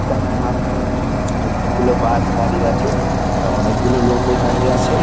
তার সামনে অনকে গুলো বাস দাঁড়িয়ে আছে | অনকে গুলো লোক ও দাঁড়িয়ে আছে ।